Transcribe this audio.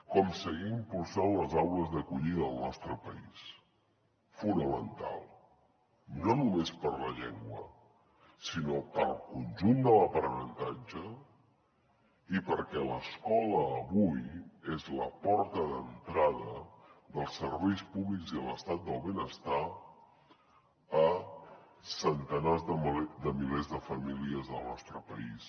com seguir impulsant les aules d’acollida del nostre país fonamental no només per a la llengua sinó per al conjunt de l’aprenentatge i perquè l’escola avui és la porta d’entrada dels serveis públics i de l’estat del benestar a centenars de milers de famílies del nostre país